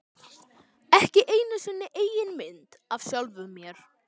Ekki einu sinni eigin mynd af sjálfum mér.